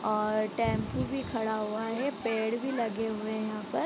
और टेम्पू भी खड़ा हुआ है पेड़ भी लगे हुए हैं यहाँ पर।